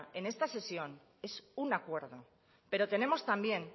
en esta sesión es un acuerdo pero tenemos también